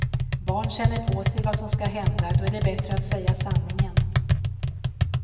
Barn känner på sig vad som ska hända, då är det bättre att säga sanningen.